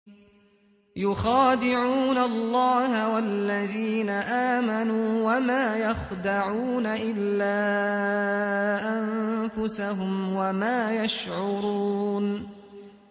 يُخَادِعُونَ اللَّهَ وَالَّذِينَ آمَنُوا وَمَا يَخْدَعُونَ إِلَّا أَنفُسَهُمْ وَمَا يَشْعُرُونَ